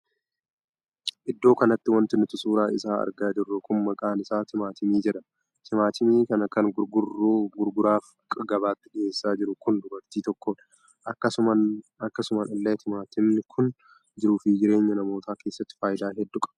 Iddoo kanatti wanti nuti suuraa isaa argaa jirru kun maqaan isaa timaatimii jedhama .timaatimii kana kan gurguraaf gabaatti dhiheesse jiru kun dubartii tokkoodha. akkasuman illee timaatimiin kun jiruu fi jireenyaa namoota keessatti faayidaa hedduu qaba.